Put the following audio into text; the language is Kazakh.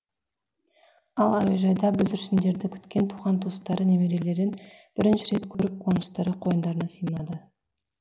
ал әуежайда бүлдіршіндерді күткен туған туыстары немерелерін бірінші рет көріп қуыныштары қойындарына сыймады